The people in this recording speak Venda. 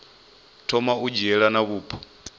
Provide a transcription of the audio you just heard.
thoma u dzhiela nha vhupo